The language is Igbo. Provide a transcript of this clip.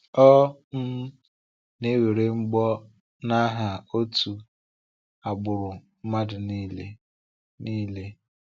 Ọ um na-ewere mbọ n’aha otu agbụrụ mmadụ niile. niile.